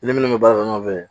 Ni minnu bɛ baara kɛ ɲɔgɔn fɛ